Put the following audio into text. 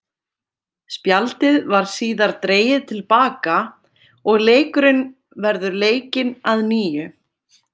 Spjaldið var síðar dregið til baka og leikurinn verður leikinn að nýju.